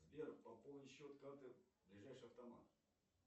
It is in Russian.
сбер пополнить счет карты ближайший автомат